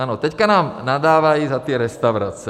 Ano, teďka nám nadávají za ty restaurace.